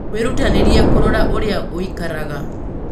Wĩrutanĩrie kũrora ũrĩa ũikaraga.